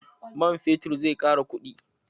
Man fetur zai ƙara kuɗi.